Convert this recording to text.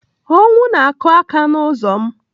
Ọnwụ na-akụ aka n'ụzọ m